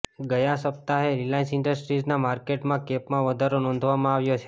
ગયા સપ્તાહે રિલાયન્સ ઈન્ડસ્ટ્રીઝના માર્કેટ કેપમાં વધારો નોંધવામાં આવ્યો છે